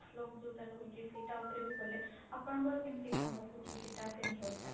lock ଯଉଟା ରହିଛି ସେଇଟା ଉପରେ ବି ଖୋଲେ ଆପଣଙ୍କର କେମତି କଣ ରହୁଛି ସେଟା sensor ଟା?